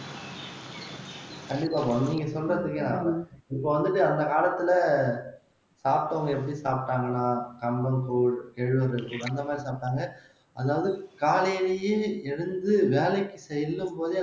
கண்டிப்பா பானு நீங்க சொல்றது இப்ப வந்துட்டு அந்த காலத்துல சாப்பிட்டவங்க எப்படி சாப்பிட்டாங்கன்னா கம்மங் கூழ் அந்த மாதிரி சாப்பிட்டாங்க அதாவது காலையிலேயே எழுந்து வேலைக்கு செல்லும் போதே